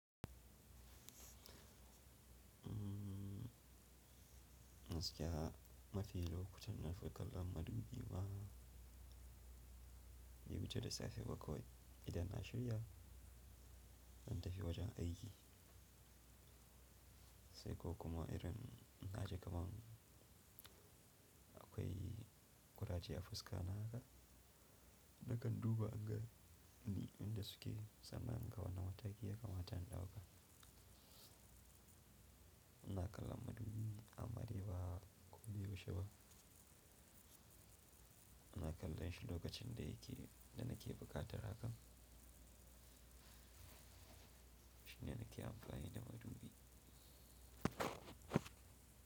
Gaskiya mafi lokutan nafi kallon madubi ma. Ya wuce da safe ba kawai idan na shirya, zan tafi wajen aiki. Sai ko kuma irin in na ji kaman akwai ƙuraje a fuska na haka, nakan duba anga ni inda suke sannan in ga wane mataki ya kamata in ɗauka. Ina kallon madubi amma dai ba ko da yaushe ba. Ina kallon shi lokacin da yake, da nake buƙatar hakan. Shine nake amfani da madubi.